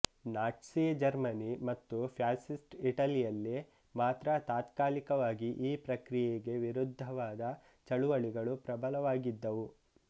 Nazi Germany ಮತ್ತು fascist ಇಟಲಿಯಲ್ಲಿ ಮಾತ್ರ ತಾತ್ಕಾಲಿಕವಾಗಿ ಈ ಪ್ರಕ್ರಿಯೆಗೆ ವಿರುದ್ಧವಾದ ಚಳವಳಿಗಳು ಪ್ರಬಲವಾಗಿದ್ದುವು